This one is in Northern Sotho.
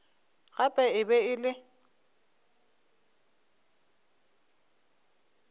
gape e be e le